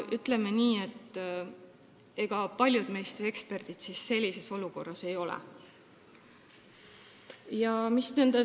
Ütleme nii, et ega paljud meist ju sellises olukorras eksperdid ei ole.